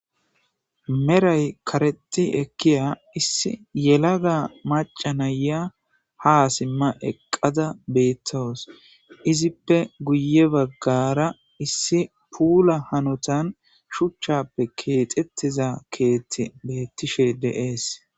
Meray kareti ekkiya issi yelada maca naya ha simma eqqada beettos izippe guye baggara issi puula hanotan shuchchappe keexettiza keethti bettishe deees.